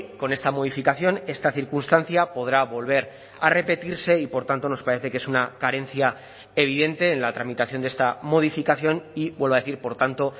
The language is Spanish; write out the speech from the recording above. con esta modificación esta circunstancia podrá volver a repetirse y por tanto nos parece que es una carencia evidente en la tramitación de esta modificación y vuelvo a decir por tanto